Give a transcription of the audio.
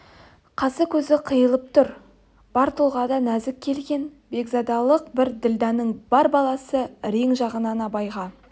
қасы көзі қиылып тұр бар тұлғасында нәзік келген бекзадалық бар ділдәнің бар баласы рең жағынан абайға